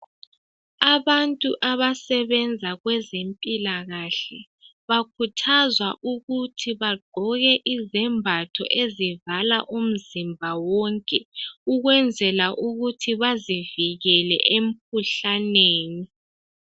Abantu abasebenza kwezempilakahle bakhuthazwa ukuthi bagqoke izembatho ezivala umzimba wonke ukwenzela ukuthi bezivikele emkhuhlaneni